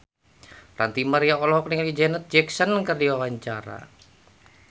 Ranty Maria olohok ningali Janet Jackson keur diwawancara